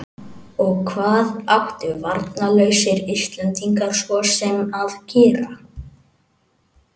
Og hvað áttu varnarlausir Íslendingar svo sem að gera?